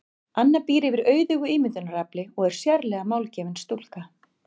Anna býr yfir auðugu ímyndunarafli og er sérlega málgefin stúlka.